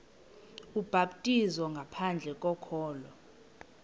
ubhaptizo ngaphandle kokholo